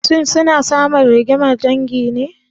Shin suna samun rigimar dangi ne?